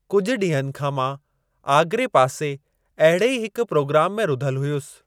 कुझु ॾींहनि खां मां आगरे पासे अहिड़े ई हिक प्रोग्राम में रुधलु हुयुसि।